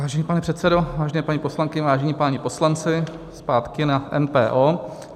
Vážený pane předsedo, vážené paní poslankyně, vážení páni poslanci, zpátky na MPO.